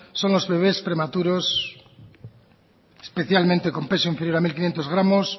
son los bebes prematuros especialmente con peso inferior a mil quinientos gramos